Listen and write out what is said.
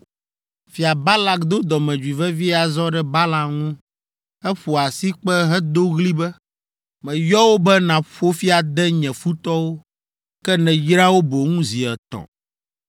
Fia Balak do dɔmedzoe vevie azɔ ɖe Balaam ŋu. Eƒo asikpe hedo ɣli be, “Meyɔ wò be nàƒo fi ade nye futɔwo, ke nèyra wo boŋ zi etɔ̃.